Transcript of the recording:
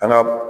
An ga